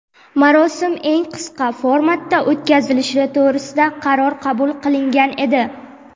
marosim eng qisqa formatda o‘tkazilishi to‘g‘risida qaror qabul qilingan edi.